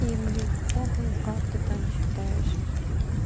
и мне похую как ты там считаешь